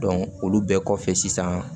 olu bɛɛ kɔfɛ sisan